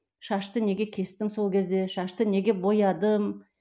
шашты неге кестім сол кезде шашты неге боядым